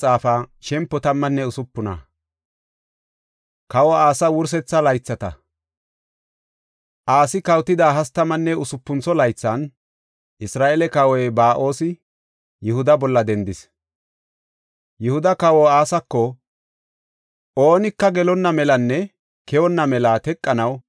Asi kawotida hastamanne usupuntho laythan Isra7eele kawoy Ba7oosi Yihuda bolla dendis. Yihuda kawa Asako oonika gelonna melanne keyonna mela teqanaw Raman miixa keexis.